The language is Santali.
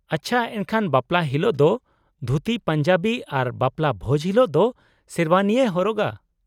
ᱟᱪᱪᱷᱟ, ᱮᱱᱠᱷᱟᱱ ᱵᱟᱯᱞᱟ ᱦᱤᱞᱳᱜ ᱫᱚ ᱫᱷᱩᱛᱤ ᱯᱟᱧᱡᱟᱵᱤ ᱟᱨ ᱵᱟᱯᱞᱟ ᱵᱷᱚᱡ ᱦᱤᱞᱳᱜ ᱫᱚ ᱥᱮᱨᱣᱟᱱᱤᱭ ᱦᱚᱨᱚᱜᱟ ᱾